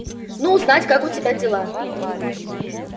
ну узнать как у тебя дела